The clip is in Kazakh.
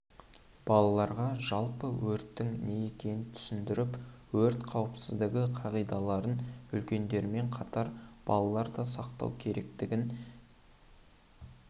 балаларға жалпы өрттің не екенін түсіндіріп өрт қауіпсіздігі қағидаларын үлкендермен қатар балалар да сақтау керектігін